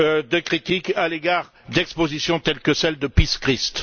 de critiques à l'égard d'expositions telles que celle de Piss Christ.